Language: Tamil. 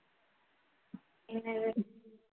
என்னது